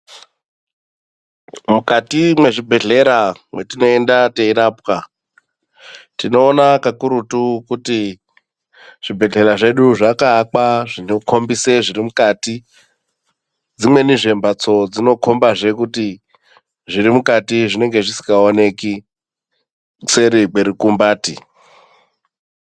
Mukati mezvibhedlera mwetinoenda tiyirapwa, tinowona kakurutu kuti zvibhedlera zvedu zvakaakwa zvinokombise zvirimukati. Dzimweni zvembatso dzinokomba zvekuti zvirimukati zvinenge zvisingawoneki seri kwerukumbati